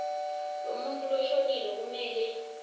lemuntfu loshonile kumele